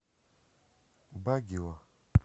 багио